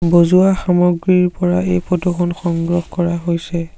বজোৱা সামগ্ৰীৰ পৰা এই ফটো খন সংগ্ৰহ কৰা হৈছে।